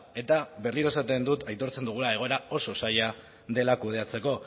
eta berriro esaten dut aitortzen dugula egoera oso zaila dela kudeatzeko